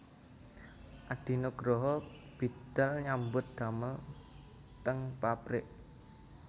Adi Nugroho bidal nyambut damel teng pabrik